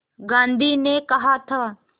गांधी ने कहा था